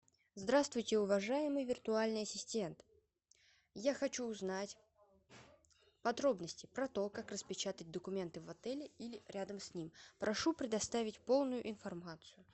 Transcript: здравствуйте уважаемый виртуальный ассистент я хочу узнать подробности про то как распечатать документы в отеле или рядом с ним прошу предоставить полную информацию